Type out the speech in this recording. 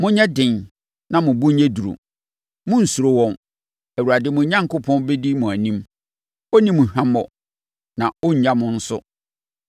Monyɛ den na mo bo nyɛ duru! Monnsuro wɔn! Awurade, mo Onyankopɔn, bɛdi mo anim. Ɔrenni mo hwammɔ na ɔrennya mo nso.”